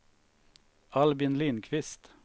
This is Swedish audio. Albin Lindquist